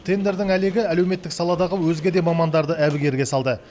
тендердің әлегі әлеуметтік саладағы өзге де мамандарды әбігерге салды